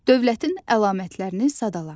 Dövlətin əlamətlərini sadala.